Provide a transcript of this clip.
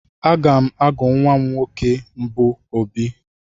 Aga m agụ nwa nwoke mbụ m Obi.